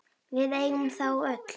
Við eigum þá öll.